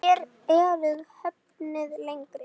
Þér eruð höfðinu lengri.